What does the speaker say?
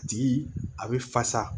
A tigi a bɛ fasa